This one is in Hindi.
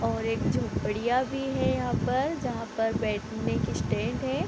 और एक झोपड़ियां भी है यहाँ पर जहां पर बैठने की स्टैंड है।